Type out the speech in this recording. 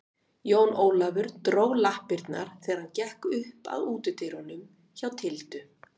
Jón Ólafur dró lappirnar þegar hann gekk upp að útidyrunum hjá Tildu.